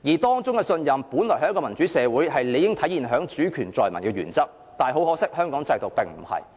當中的信任，在一個民主的社會，是理應體現在主權在民的原則，但可惜，香港制度並非如此。